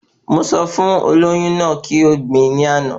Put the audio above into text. Mo sọ fún olóyún náà kí o gbin ní àná